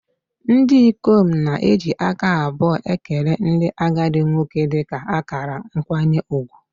Ndị ikom na-eji aka abụọ ekele ndị agadi nwoke dị ka akara nkwanye ùgwù